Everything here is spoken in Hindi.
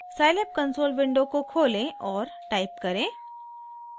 scilab कंसोल विंडो को खोलें और टाइप करें